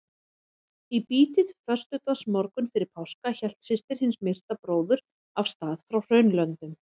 Í bítið föstudagsmorgunn fyrir páska hélt systir hins myrta bróður af stað frá Hraunlöndum.